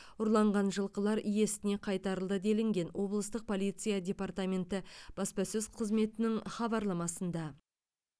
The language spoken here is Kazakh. ұрланған жылқылар иесіне қайтарылды делінген облыстық полиция департаменті баспасөз қызметінің хабарламасында